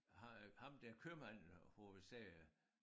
Ham øh ham der købmanden hvor vi sagde